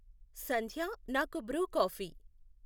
సంధ్యా నాకు Bru coffee